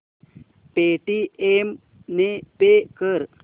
Paytm ने pay कर